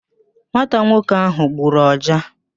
Nwata nwoke ahụ gburu ọja